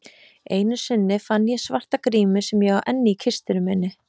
Einu sinni fann ég svarta grímu sem ég á enn í kistunni minni.